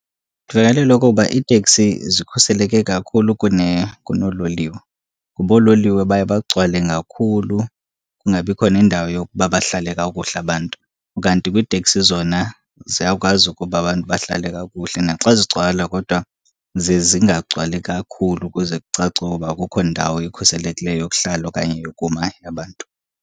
Ndivakalelwa okokuba iiteksi zikhuseleke kakhulu kunoololiwe. Kuba oololiwe baye bagcwale ngakhulu kungabikho nendawo yokuba bahlale kakuhle abantu. Kanti kwiiteksi zona ziyakwazi ukuba abantu bahlale kakuhle, naxa zigcwala kodwa ziye zingagcwali kakhulu ukuze kucace okoba akukho ndawo ikhuselekileyo yokuhlala okanye yokuma yabantu.